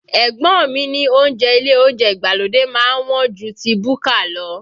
Ẹ̀gbọ́n mi ní oúnjẹ ile oúnjẹ ìgbàlódé má ń wọ́n ju ti búkà lọ